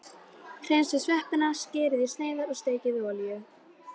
Hreinsið sveppina, skerið í sneiðar og steikið í olíu.